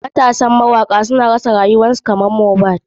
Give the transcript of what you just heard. Matasan mawaka da suka rasa rayukan su sune kamar mohbad.